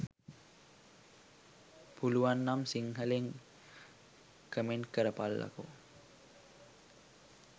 පුලුවන්නම් සිංහලෙන්ම කමෙන්ට් කරපල්ලකෝ